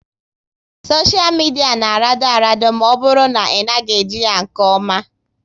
Soshia midia na arado arado ma ọ bụrụ na ị naghị eji ya nke oma